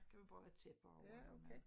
Så kan man bare have tæpper over når man